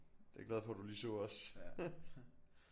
Det jeg glad for du lige så også